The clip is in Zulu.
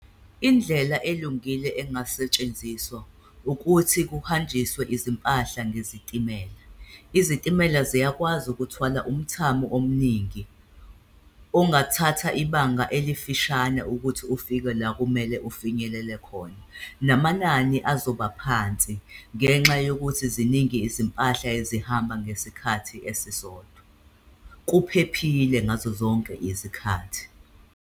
Indlela elungile engasetshenziswa ukuthi kuhanjiswe izimpahla ngezitimela, izitimela ziyakwazi ukuthwala umthamo omningi, ongathatha ibanga elifishane ukuthi ufike la kumele ufinyelele khona. Namanani azoba phansi ngenxa yokuthi ziningi izimpahla ezihamba ngesikhathi esisodwa, kuphephile ngazo zonke izikhathi.